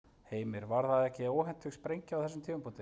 Heimir: Var það ekki óhentug sprengja á þessum tímapunkti?